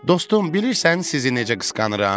Dostum, bilirsən sizi necə qısqanıram?